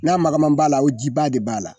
Na magaman b'a la o jiba de b'a la.